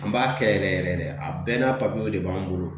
An b'a kɛ yɛrɛ yɛrɛ de a bɛɛ n'a papiyew de b'an bolo